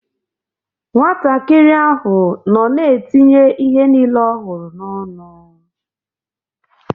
Nwatakịrị ahụ nọ na-etinye ihe niile ọ hụrụ n’ọnụ.